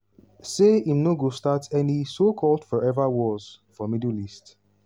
say im no go start any so-called "forever wars" for middle east.